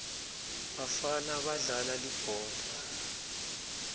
bafana badlala libhola